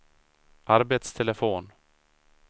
arbetstelefon